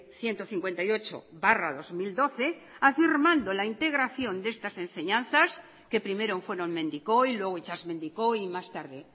ciento cincuenta y ocho barra dos mil doce afirmando la integración de estas enseñanzas que primero fueron mendikoi y luego itsasmendikoi y más tarde